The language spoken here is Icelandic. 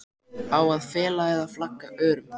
Á að fela eða flagga örum?